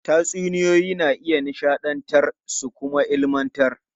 Tatsuniyoyi na iya nishadantar su kuma ilmantar.